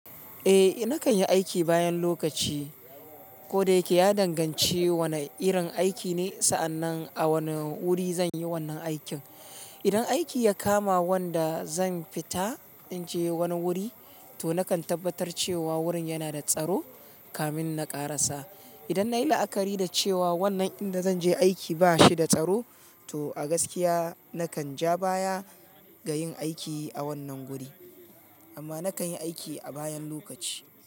Eh nakan yi aiki bayan lokaci, ko da yake ya danganci wane irin aiki ne sa'annan a wane wuri zan yi wannan aikin. Idan aiki ya kama wanda zan fita in je wani wuri, to nakan tabbatar cewa wurin yana da tsaro kamin na ƙarasa. Idan na yi la'akari da cewa wannan inda zan je aiki ba shi da tsaro, to a gaskiya nakan ja baya ga yin aiki a wannan guri. Amma nakan yi aiki a bayan lokaci.